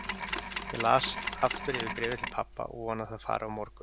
Ég las aftur yfir bréfið til pabba og vona að það fari á morgun.